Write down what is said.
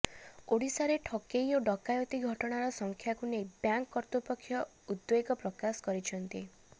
ଓଡ଼ିଶାରେ ଠକେଇ ଓ ଡକାୟତି ଘଟଣାର ସଂଖ୍ୟାକୁ ନେଇ ବ୍ୟାଙ୍କ କର୍ତ୍ତୃପକ୍ଷ ଉଦ୍ବେଗ ପ୍ରକାଶ କରିଛନ୍ତି